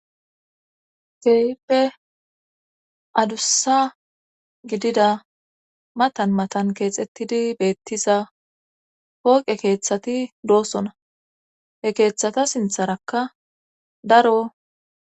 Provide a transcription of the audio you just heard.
Keyipe adussa gidida matan matan keexettidi beettiza pooqe keeththati doosona he keeththata sintharakka daro